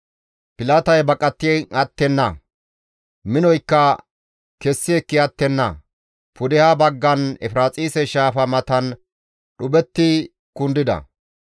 Pilatay baqati attenna; minoykka kessi ekki attenna; pudeha baggan Efiraaxise Shaafa matan dhuphetti kundida.